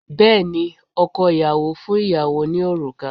Bẹ́ẹ̀ ni, ọkọ ìyàwó fún ìyàwó ní òrùka